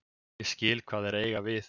Ég skil hvað þeir eiga við.